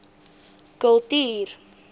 kultuur